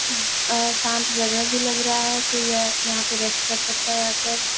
अ शांत जगह भी लग रहा है कोई यह यहां आके रेस्ट भी कर सकता हैं यहां पर --